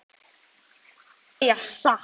Ég ákvað að segja satt.